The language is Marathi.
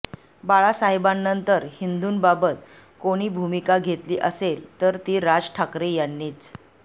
बाळासाहेबानंतर हिंदूंबाबत कोणी भूमिका घेतली असेल तर ती राज ठाकरे यांनीच